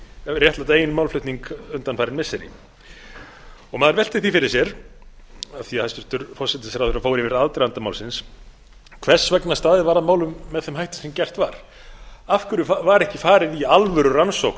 réttlæta eigin málflutning undanfarin missiri og maður veltir fyrir sér af því að hæstvirtur forsætisráðherra fór yfir aðdraganda málsins hvers vegna staðið var að málum með þeim hætti sem gert var af hverju var ekki farið í alvörurannsókn